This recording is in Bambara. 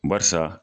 Barisa